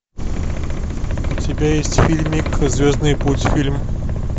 у тебя есть фильмик звездный путь фильм